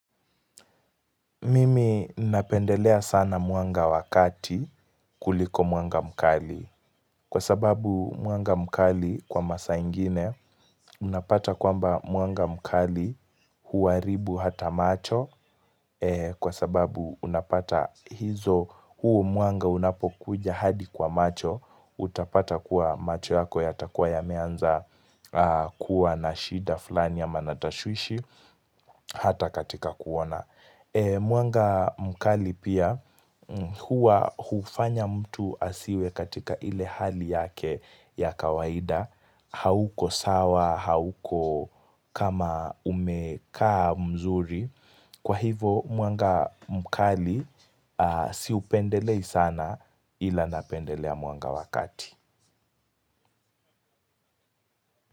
Mimi napendelea sana mwanga wa kati kuliko mwanga mkali. Kwa sababu mwanga mkali kwa masa ingine Unapata kwamba mwanga mkali huharibu ata macho, kwa sababu unapata hizo huo mwanga unapokuja hadi kwa macho, utapata kuwa macho yako yatakuwa yameanza aanh kuwa na shida flani ama na tashwishi Hata katika kuona. Mwanga mkali pia huwa hufanya mtu asiwe katika ile hali yake ya kawaida hauko sawa hauko kama umekaa mzuri, kwa hivo mwanga mkali, aaaa siupendelei sana ila napendelea mwanga wa kati.